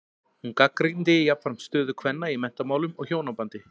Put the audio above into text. Hún gagnrýndi jafnframt stöðu kvenna í menntamálum og hjónabandi.